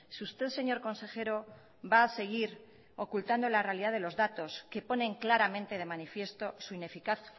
si usted señor consejero va a seguir ocultando la realidad de los datos que ponen claramente de manifiesto su ineficaz